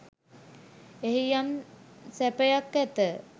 එහි යම් සැපයක් ඇත